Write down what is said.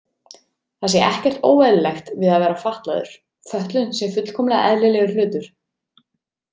Það sé ekkert óeðlilegt við að vera fatlaður, fötlun sé fullkomlega eðlilegur hlutur.